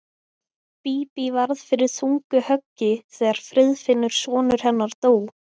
Bíbí varð fyrir þungu höggi þegar Friðfinnur sonur hennar dó.